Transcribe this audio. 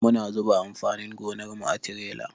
Muna zuba amfanin gonar mu a tirela.